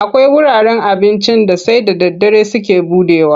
Akwai wuraren abincin da sai da daddare suke buɗewa.